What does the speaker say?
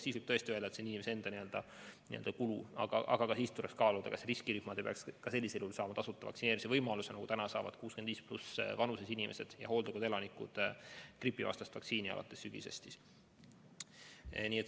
Siis võib tõesti öelda, et see vaktsineerimine on inimese enda kulu, aga ka siis tuleks kaaluda, kas riskirühmad ei peaks ka sellisel juhul saama tasuta vaktsineerimise võimalust, nagu praegu saavad 65+ vanuses inimesed, sh hooldekodude elanikud gripivastast vaktsiini alates sügisest.